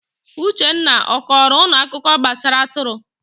Uchenna, ọ kọrọ unu akụkọ gbasara atụrụ?